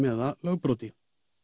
eða lögbroti